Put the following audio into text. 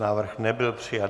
Návrh nebyl přijat.